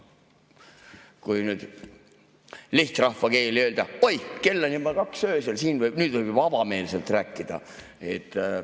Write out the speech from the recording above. Kui nüüd lihtrahvakeeli öelda – oi, kell on juba kaks öösel, siin võib nüüd juba avameelselt rääkida!